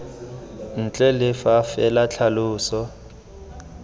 ntle le fa fela tlhaloso